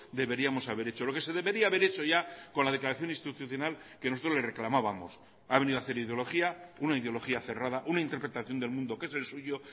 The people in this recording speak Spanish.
deberíamos haber hecho lo que se debería haber hecho ya con la declaración institucional que nosotros le reclamábamos ha venido hacer ideología una ideología cerrada una interpretación del mundo que es el suyo